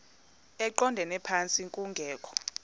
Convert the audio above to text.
eqondele phantsi kungekho